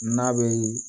N'a bɛ